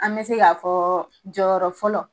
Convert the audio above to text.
An be se k'a fɔɔ jɔyɔrɔ fɔlɔ